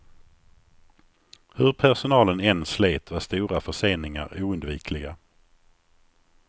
Hur personalen än slet var stora förseningar oundvikliga.